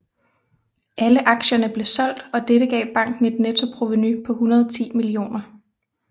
Alle aktierne blev solgt og dette gav banken et nettoprovenu på 110 millioner